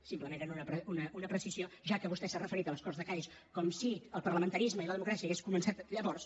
simplement era una precisió ja que vostè s’ha referit a les corts de cadis com si el parlamentarisme i la democràcia haguessin començat llavors